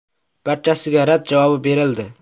Barchasiga rad javobi berildi.